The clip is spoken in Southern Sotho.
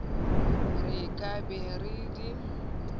re ka be re di